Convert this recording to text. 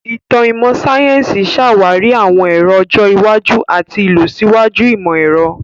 Ìtàn ìmọ̀ sáyẹ́sì ṣàwárí àwọn èrò ọjọ́ iwájú àti ìlọsíwájú ìmọ̀-ẹ̀rọ.